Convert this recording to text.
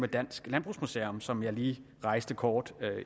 dansk landbrugsmuseum som jeg lige rejste kort